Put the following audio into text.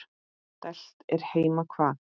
Dælt er heima hvað.